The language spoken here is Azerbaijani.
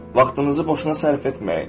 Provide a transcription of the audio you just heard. vaxtınızı boşuna sərf etməyin.